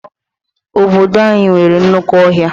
Obodo anyị nwere nnukwu ọhịa.